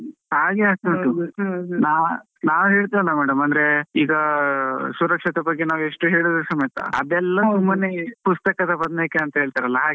ಹಾ ಹಾಗೆ ಆಗ್ತಾ ನಾವ್ ಹೇಳ್ತೇವಲ್ಲ madam ಅಂದ್ರೆ, ಈಗ ಸುರಕ್ಷತೆ ಬಗ್ಗೆ ನಾವ್ ಎಷ್ಟು ಹೇಳಿದ್ರು ಸಮೇತಾ, ಅದೆಲ್ಲ ಸುಮ್ಮನೆ ಪುಸ್ತಾದ ಬದ್ನೇಕಾಯಿ ಅಂತ ಹೇಳ್ತಾರಲ್ಲ ಹಾಗೆ.